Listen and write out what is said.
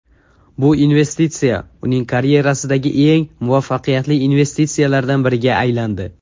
Bu investitsiya uning karyerasidagi eng muvaffaqiyatli investitsiyalardan biriga aylandi.